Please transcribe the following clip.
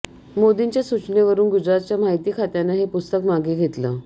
मोदींच्या सूचनेवरून गुजरातच्या माहिती खात्यानं हे पुस्तक मागे घेतलं